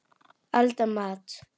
Elda matinn.